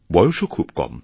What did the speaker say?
বয়সও খুব কম